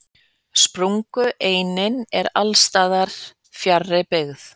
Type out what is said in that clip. Sprungureinin er alls staðar fjarri byggð.